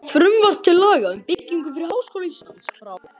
Frumvarp til laga um byggingu fyrir Háskóla Íslands, frá